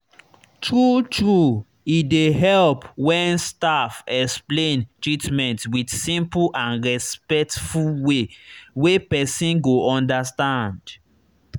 true true e dey help when staff explain treatment with simple and respectful way wey person go understand.